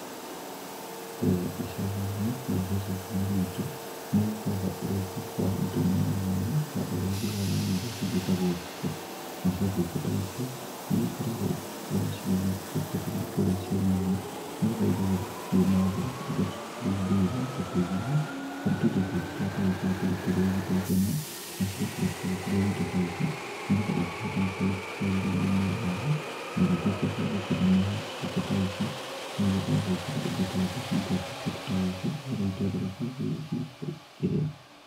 Kũrĩa icagi-inĩ rũrĩrĩ-inĩ rwitũ nĩ ũgĩkoraga ũrĩithi wa indo mwanya mwanya ta ũrĩithi wa nyoni iria cigĩtagwo ngũkũ. Nacio ngũkũ ta ici nĩ igĩkoragwo ĩgĩkorwo ikĩrekererio kũrĩa cieni-inĩ nĩgetha igagĩthiĩ gũkĩmathĩra indo ta tũmburura, ta tũgunyũ kana tũindo tũngĩ tũrĩa tũgĩkoragwo tũrĩ tũrũgi ta itono, na cigakĩrĩkia gũkĩrĩa indo ta ici nĩgetha ikĩhote gũkorwo igĩkĩagĩriria mĩrĩ yao na igĩtwĩke cia gũkĩneneha. Ngũkũ ta ici no igĩkoragwo nginya igĩtwara tũcui twatuo kũndũ ta gũkũ nĩgetha itwethere kĩrĩa cigũkorwo igĩkĩrĩa.